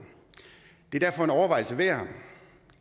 det er derfor en overvejelse værd